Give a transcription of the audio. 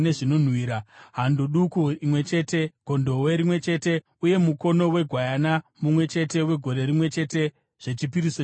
hando duku imwe chete, gondobwe rimwe chete uye mukono wegwayana mumwe chete wegore rimwe chete zvechipiriso chinopiswa;